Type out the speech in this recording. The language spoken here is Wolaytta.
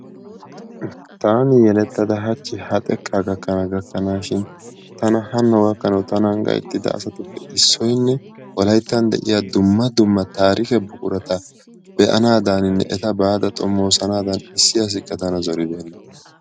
Taani yelettada hachchi ha xekka gakkana gakanashin tana hano gakkanaw tanan gayttida asatuppe issoynne Wolayttan de'iyaa dumma dumma taarikke buqurata be'anadaninne eta baada xoomosanadan issi asikka tana zoribeenna.